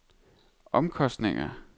omkostninger